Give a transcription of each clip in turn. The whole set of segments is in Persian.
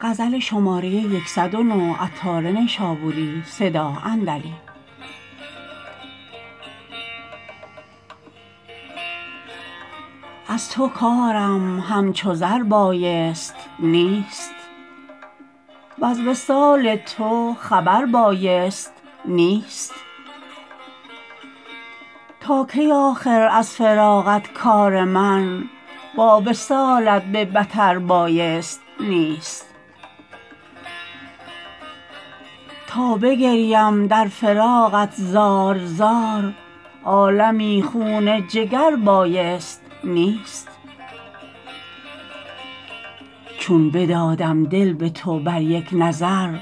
از تو کارم همچو زر بایست نیست وز وصال تو خبر بایست نیست تا کی آخر از فراقت کار من با وصالت به بتر بایست نیست تا بگریم در فراقت زار زار عالمی خون جگر بایست نیست چون بدادم دل به تو بر یک نظر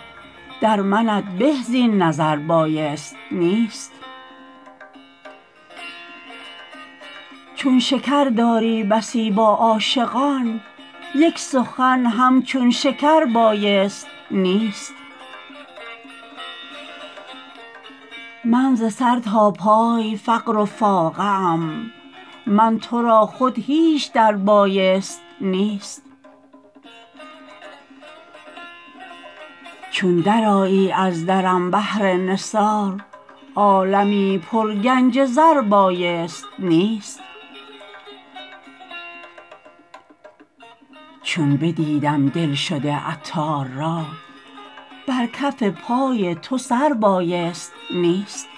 در منت به زین نظر بایست نیست چون شکر داری بسی با عاشقان یک سخن همچون شکر بایست نیست من ز سر تا پای فقر و فاقه ام من تو را خود هیچ در بایست نیست چون درآیی از درم بهر نثار عالمی پر گنج زر بایست نیست چون بدیدم دلشده عطار را بر کف پای تو سر بایست نیست